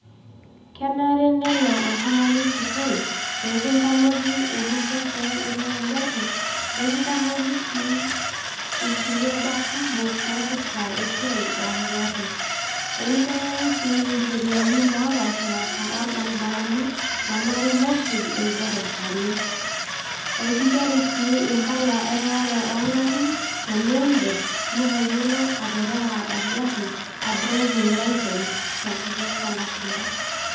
Kenare nelo oltungani sukuul peekintamoki eninko tenirew engari, nikintamoki sii inkuliek baa kumok, naipirta esiai oongarin. Ekintengeni sii incheriani naapaashi paasha olbaribarani naanare nesuj ilderevani. Ekinchori sii impala ereware oo ingarin tenidip nitayiolo aterewa engari, aa driving licence tenkutuk oolashumpa.